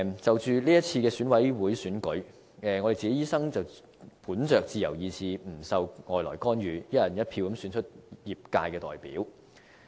就是次選舉委員會選舉，我們醫生本着自由意志，不受外來干預，"一人一票"選出業界代表。